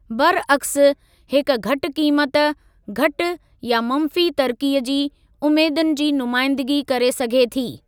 बरअक्स, हिक घटि क़ीमत, घटि या मंफ़ी तरक़ीअ जी उमेदुनि जी नुमाइंदगी करे सघे थी।